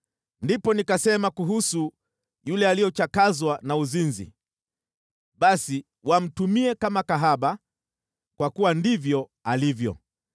Ndipo nikasema kuhusu yule aliyechakazwa na uzinzi, ‘Basi wamtumie kama kahaba, kwa kuwa ndivyo alivyo.’